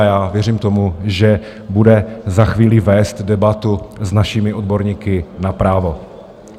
A já věřím tomu, že bude za chvíli vést debatu s našimi odborníky na právo.